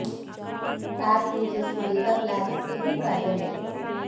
app users को data plans के भी फायदे मिलेंगे